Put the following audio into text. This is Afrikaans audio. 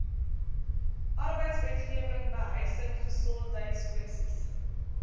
arbeidswetgewing behuising gesondheidskwessies